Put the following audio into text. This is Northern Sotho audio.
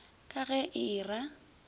ka ge e e ra